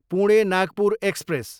Pune, Nagpur express